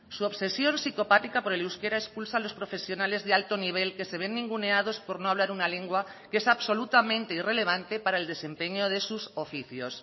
su obsesión psicopática por el euskera expulsa a los profesionales de alto nivel que se ven ninguneados por no hablar una lengua que es absolutamente irrelevante para el desempeño de sus oficios